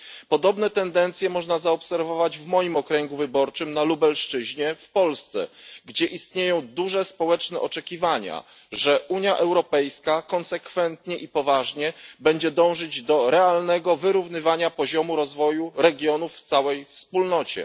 Podobne tendencje można zaobserwować w moim okręgu wyborczym, na Lubelszczyźnie w Polsce, gdzie istnieją duże społeczne oczekiwania, że Unia Europejska będzie dążyć konsekwentnie i poważnie do realnego wyrównywania poziomu rozwoju regionów w całej Wspólnocie.